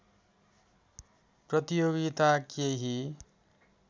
प्रतियोगिता केही